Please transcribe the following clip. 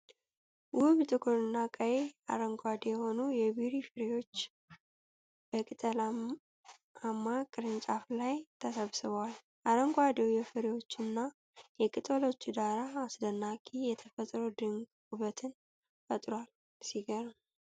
ውብ! ጥቁርና ቀይ፣ አረንጓዴ የሆኑ የቤሪ ፍሬዎች በቅጠላማ ቅርንጫፍ ላይ ተሰብስበዋል። አረንጓዴው የፍሬዎቹና የቅጠሎቹ ዳራ አስደናቂ የተፈጥሮ ድንቅ ውበት ፈጥሯል። ሲገርም!